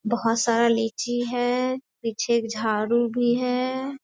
बहोत सारा लीची हैं पीछे एक झाड़ू भी हैं।